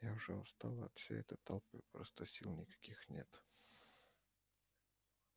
я уже устала от всей этой толпы просто сил никаких нет